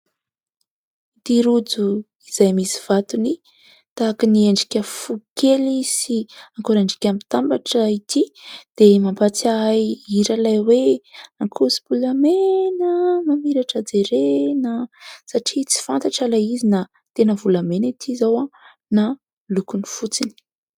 Itỳ rojo izay misy vatony tahaka ny endrika fo kely sy akorandriaka mitambatra itỳ dia mampatsiahy hira ilay hoe : ankoso-bolamena, mamiratra jerena, satria tsy fantatra ilay izy na tena volamena itỳ izao na lokony fotsiny.